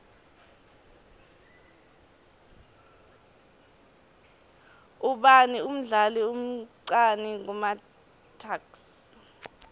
ubani umdlali omcani kumatuks